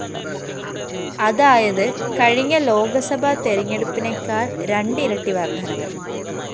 അതായത്‌ കഴിഞ്ഞ ലോകസഭ തെരഞ്ഞെടുപ്പിനെക്കാള്‍ രണ്ട്‌ ഇരട്ടി വര്‍ദ്ദനവ്‌